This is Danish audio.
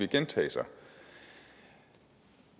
gentage sig